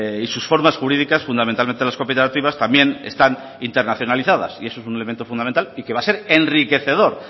y sus formas jurídicas fundamentalmente las cooperativas también están internacionalizadas y eso es un elemento fundamental y que va a ser enriquecedor